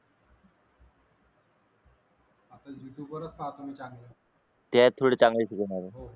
आता यूट्यूब वरच पाहतो मी चांगले